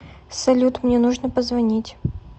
салют мне нужно позвонить